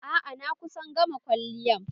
A'a, na kusa gama kwalliyan